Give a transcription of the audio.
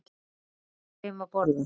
Ekki gleyma að borða.